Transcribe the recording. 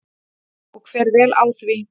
Og fer vel á því.